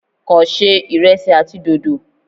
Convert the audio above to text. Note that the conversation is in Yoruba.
Kàn ṣe ìresí àti dòdò.